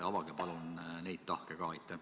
Avage palun neid tahke ka!